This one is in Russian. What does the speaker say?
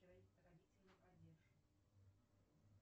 родительный падеж